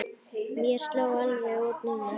Mér sló alveg út núna.